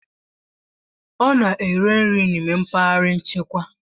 Ọ na-eri nri n'ime mpaghara nchekwa